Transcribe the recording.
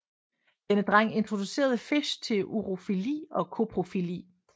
Denne dreng introducerede Fish til urofili og koprofili